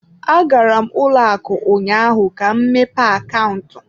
Agara m ụlọ akụ ụnyaahụ ka m mepee akaụntụ.